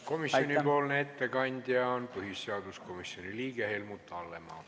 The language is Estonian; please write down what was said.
Komisjoni ettekandja on põhiseaduskomisjoni liige Helmut Hallemaa.